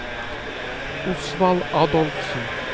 Osvald Adolfsen